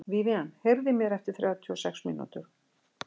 Vivian, heyrðu í mér eftir þrjátíu og sex mínútur.